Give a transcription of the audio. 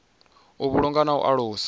u vhulunga na u alusa